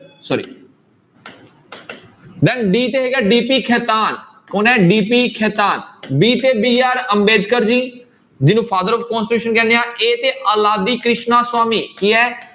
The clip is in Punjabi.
Sorry then d ਤੇ ਹੈਗਾ DP ਖੇਤਾਨ ਕੌਣ ਹੈ DP ਖੇਤਾਨ b ਤੇ BR ਅੰਬੇਦਕਰ ਜੀ ਜਿਹਨੂੰ father of constitution ਕਹਿੰਦੇ ਹਾਂ a ਤੇ ਅਲਾਦੀ ਕ੍ਰਿਸ਼ਨਾ ਸਵਾਮੀ ਕੀ ਹੈ